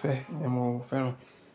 fẹ́, iyẹn mo fẹ́ràn.